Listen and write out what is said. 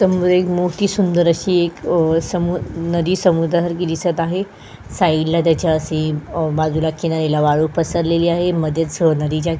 त मोठी सुंदर अशी एक अ समु नदी समुद्रासारखी दिसत आहे साइडला त्याच्या सी बाजूला अ किनारीला अ वाळू पसरलेली आहे मध्येच --